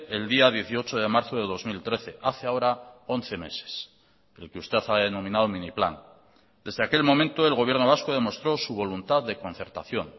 el día dieciocho de marzo de dos mil trece hace ahora once meses el que usted ha denominado mini plan desde aquel momento el gobierno vasco demostró su voluntad de concertación